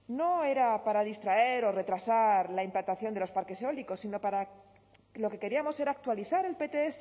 no era para distraer o retrasar la implantación de los parques eólicos sino para lo que queríamos era actualizar el pts